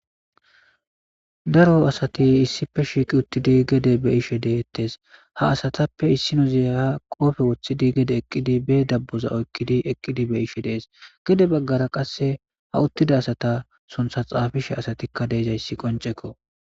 Daro asati issipe shiqi uttidi gede be'ishe dettes ha asatappe issinos ha qoppe wothidi be dabaza oykidi eqidi be'ishe dees.gede bagara qase uttida asata suntha xappisheka asatika de'izaysi qoncekko